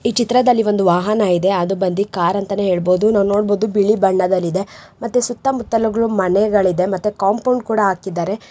ಈ ಚಿತ್ರದಲ್ಲಿ ಒಂದು ವಾಹನ ಇದೆ ಅದು ಬಂದು ಕಾರ್ ಅಂತ ಹೇಳಬಹುದು. ನಾವ್ ನೋಡಬಹುದು ಬಿಳಿ ಬಣ್ಣದಲ್ಲಿದೆ ಮತ್ತೆ ಸುತ್ತಮುತ್ತಲು ಮನೆಗಳು ಇದೆ ಮತ್ತೆ ಕಾಂಪೌಂಡ್ ಕೂಡ ಹಾಕಿದ್ದಾರೆ.